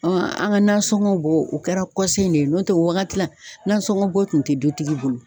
an ka nasɔngɔ bɔ o kɛra de ye n'o tɛ o wagati la, nasɔngɔn bɔ tun tɛ dutigi bolo.